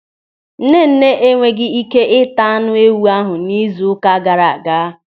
Nnenne e nweghị ị́ké ịta anụ ewụ ahụ n'izu ụka gaara aga.